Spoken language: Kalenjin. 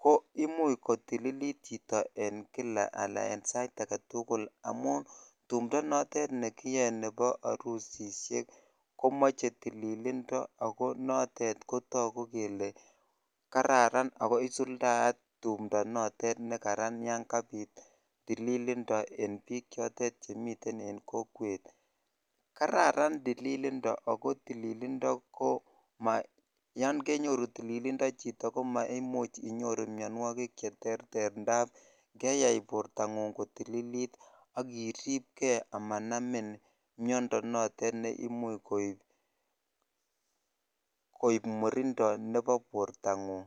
ko imuch kotililit chito en kila anan en sait agetukul amun tumdo notet nekiyoe nebo orusishek komoche tililindo ako notet kotoku kele kararan ako isuldayat tumdo notet nekaran yon kabit tililindo en bik chotet chemiten en kokwet. Kararan tililindo ako tililindo ko Mayon kenyoru tililindo chito komo imuch inyoru mionwokik cheterter ndap keyai bortonguny kotililit akiribgee amanamin miondo notet ne imuch koib murindo nebo bortonguny.